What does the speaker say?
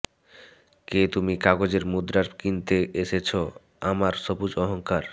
কে তুমি কাগজের মুদ্রায় কিনতে এসেছো আমার সবুজ অহঙ্কার